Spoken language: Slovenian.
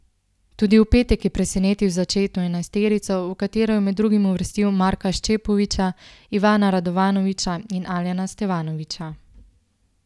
Tudi v petek je presenetil z začetno enajsterico, v katero je med drugim uvrstil Marka Šćepovića, Ivana Radovanovića in Alena Stevanovića.